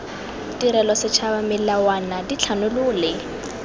tirelo setšhaba melawana dithanolo le